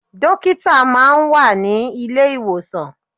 Dókítà máa ń wà ní ilé ìwòsàn.